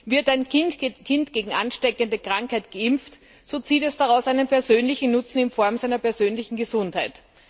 Wird ein Kind gegen ansteckende Krankheiten geimpft, so zieht es daraus einen persönlichen Nutzen in Form seiner persönlichen Gesundheit.